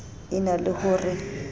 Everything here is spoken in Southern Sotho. e na le ho re